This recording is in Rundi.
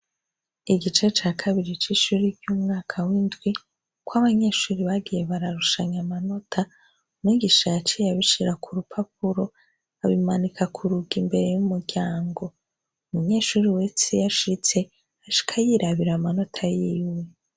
Igice ca kabiri c'ishure ry'umwaka w'indwi, Uko abanyeshure bagiye bararushanya amanota, mwigisha yaciye abishira ku rupapuro, abimanika ku rugi imbere y'umuryango. Umunyeshure wese iyo ashitse, ashika yirabira amanota yiwe.